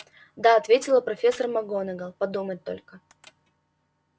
да ответила профессор макгонагалл подумать только